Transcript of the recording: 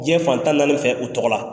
Diyɛn fan tan naani fɛ u tɔgɔ la.